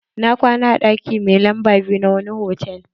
Na kwana a ɗaki mai lamba biyu na wine hotal.